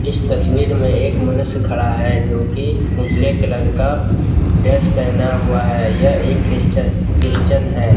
इस तस्वीर में एक मनुष्य खड़ा है जो की उजले कलर का ड्रेस पहना हुआ है यह एक क्रिस्चियन है।